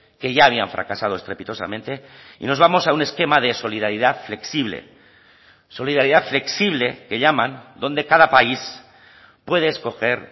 que ya habían fracasado estrepitosamente y nos vamos a un esquema de solidaridad flexible solidaridad flexible que llaman donde cada país puede escoger